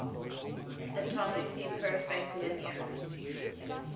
atomically perfect linear